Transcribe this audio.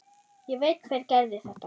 Ég veit hver gerði þetta.